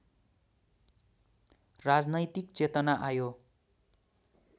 राजनैतिक चेतना आयो